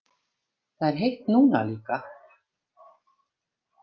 Það er heitt núna líka.